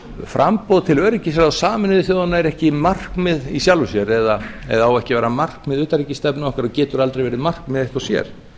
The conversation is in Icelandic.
framboð til öryggisráðs sameinuðu þjóðanna sé ekki markmið í sjálfu sér eða eigi ekki að vera markmið utanríkisstefnu okkar og geti aldrei verið markmið eitt og sér